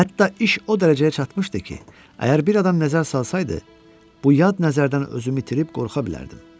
Hətta iş o dərəcəyə çatmışdı ki, əgər bir adam nəzər salsaydı, bu yad nəzərdən özümü itirib qorxa bilərdim.